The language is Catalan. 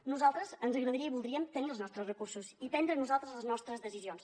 a nosaltres ens agradaria i voldríem tenir els nostres recursos i prendre nosaltres les nostres decisions